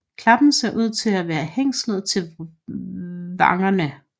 Klappen ser ud til at være hængslet til vangerne